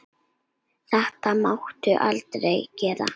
Þetta máttu aldrei gera aftur!